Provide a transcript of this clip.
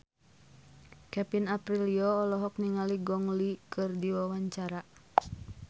Kevin Aprilio olohok ningali Gong Li keur diwawancara